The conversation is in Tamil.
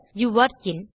யூரே இன்